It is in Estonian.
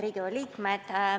Head Riigikogu liikmed!